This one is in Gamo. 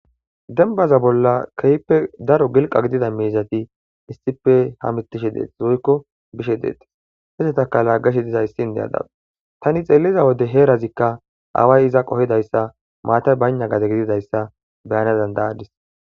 dembaza bolla keyppe daro gilqa gidida miizati issippe ha mitishe deeti zoykko bishe deetis hesetaka laggash diza issi indeyada tani xeelliza wode heerazikka away iza qohidayssa maata bayna gade gididayssa beyana dandayadis